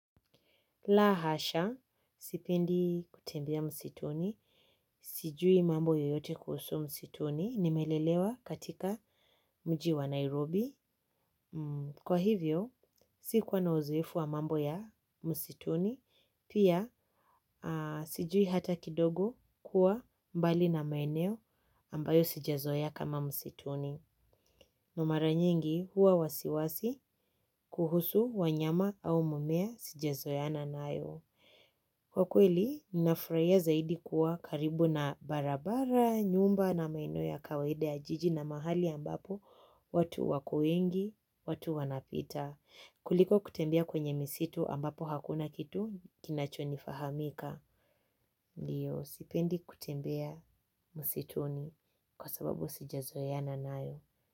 La hasha, sipendi kutembia msituni, sijui mambo yoyote kuhusu msituni, nimelelewa katika mjiwa Nairobi. Kwa hivyo, sikuwa na uzoefu wa mambo ya msituni, pia sijui hata kidogo kuwa mbali na maeneo ambayo sijazoeya kama msituni. Na mara nyingi huwa wasiwasi kuhusu wanyama au mumea sijazoeana nayo. Kwa kweli, ninafraia zaidi kuwa karibu na barabara, nyumba na maeneo ya kawaida ya jiji na mahali ambapo, watu wako wengi, watu wanapita. Kuliko kutembea kwenye misitu ambapo hakuna kitu kinachonifahamika. Ndiyo, sipendi kutembea msituni kwa sababu sijazoeana nayo.